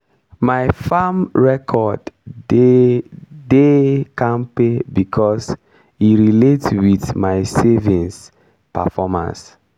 my farm record dey de kampe becos e relate with my savings performance.